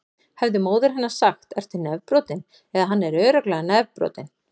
Hefði móðir hennar sagt: Ertu nefbrotinn? eða: Hann er örugglega nefbrotinn.